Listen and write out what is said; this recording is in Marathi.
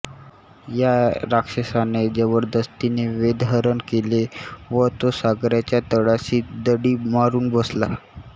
या राक्षसाने जबरदस्तीने वेदहरण केले व तो सागराच्या तळाशी दडी मारून बसला